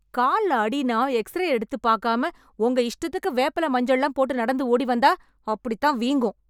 கால்ல அடின்னா, எக்ஸ்ரே எடுத்து பாக்காம, உங்க இஷ்டத்துக்கு வேப்பில மஞ்சள்ளாம் போட்டு நடந்து ஓடி வந்தா.... அப்டிதான் வீங்கும்...